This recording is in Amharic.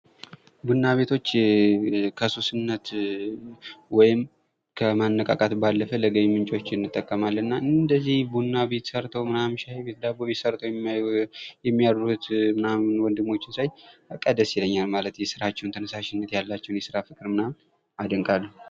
ቡና ቤቶችን ከሱስነት ወይም ከማነቃቃት ባለፈ ለገቢ ምንጭነት እንጠቀማለን። እንደዚህ ቡና ቤት ሠርተው ዳቦ ቤት ሻይ ቤት ሰርተው የሚያድሩት ወንድሞችን ሳይ በቃ ደስ ይለኛል። ማለት ያላቸውን የስራ ተነሳሽነት የስራ ፍቅር አደንቃለሁ።